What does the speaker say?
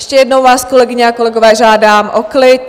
Ještě jednou vás, kolegyně a kolegové, žádám o klid!